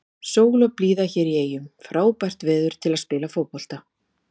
Sól og blíða hérna í eyjum, frábært veður til að spila fótbolta.